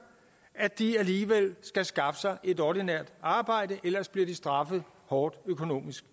at de alligevel skal skaffe sig et ordinært arbejde ellers bliver de straffet hårdt økonomisk